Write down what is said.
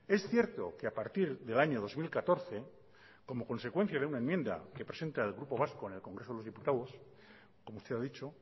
es cierto que a partir del año dos mil catorce como consecuencia de una enmienda que presenta el grupo vasco en el congreso de los diputados como se ha dicho